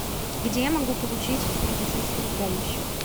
где я могу получить медицинскую помощь